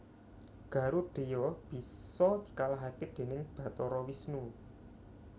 Garudheya bisa dikalahaké dèning Bathara Wisnu